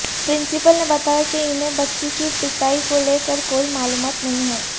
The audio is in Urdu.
پرنسپل نے بتایا کہ انہیں بچی کی پٹائی کو لے کر کوئی معلومات نہیں ہے